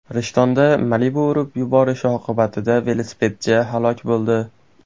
Rishtonda Malibu urib yuborishi oqibatida velosipedchi halok bo‘ldi.